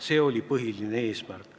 See oli põhiline põhjus.